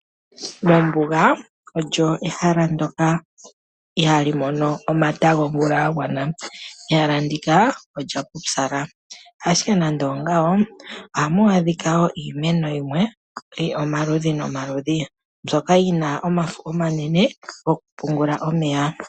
Ombuga oyo ehala ndyoka ihaali mono omata gomvula ga gwana. Ehala ndika olya pupyala, ashike nando ongawo, ohamu adhika iimeno yimwe yi li omaludhi nomaludhi, mbyoka yi na omafo omanene gokupungula omeya.